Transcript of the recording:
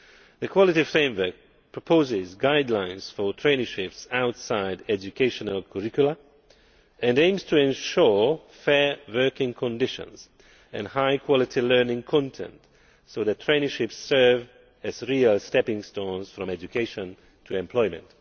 The Quality Framework proposes guidelines for traineeships outside educational curricula, and aims to ensure fair working conditions and high quality learning content so that traineeships serve as real stepping stones from education to employment.